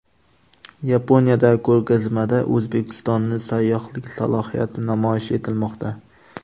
Yaponiyadagi ko‘rgazmada O‘zbekistonning sayyohlik salohiyati namoyish etilmoqda.